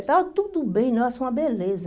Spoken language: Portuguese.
Estava tudo bem, nossa, uma beleza.